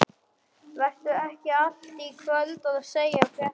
Vertu ekki í allt kvöld að segja fréttirnar.